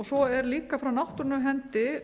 svo má líka frá náttúrunnar hendi